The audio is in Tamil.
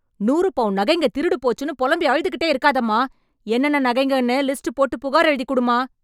நூறு பவுன் நகைங்க திருடு போச்சுன்னு பொலம்பி அழுதுகிட்டே இருக்காதம்மா... என்னென்ன நகைங்கன்னு லிஸ்ட் போட்டு புகார் எழுதிக்குடுமா.